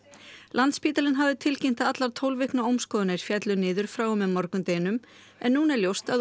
landspítalinn hafði tilkynnt að allar tólf vikna féllu niður frá og með morgundeginum en núna er ljóst að